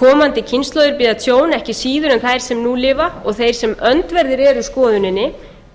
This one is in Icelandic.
komandi kynslóðir bíða tjón ekki síður en þær sem nú lifa og þeir sem öndverðir eru skoðuninni